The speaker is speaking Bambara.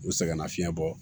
U sɛgɛnna fiɲɛ bɔ